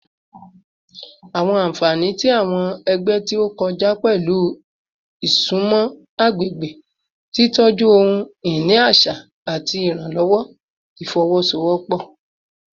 Awọn anfani ti awọn ẹgbẹ ti o kọja pẹlu isunmọ agbegbe, titọju ohun-ini aṣa, ati iranlọwọ ifowosowopo